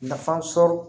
Nafa sɔrɔ